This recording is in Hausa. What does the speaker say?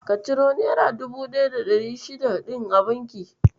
Ka ciro naira 1600 ɗin a bankin?